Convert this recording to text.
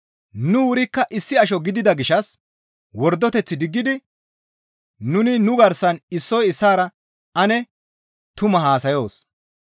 Nu wurikka issi asho gidida gishshas wordoteth diggidi nuni nu garsan issoy issaara ane tumaa haasayoos.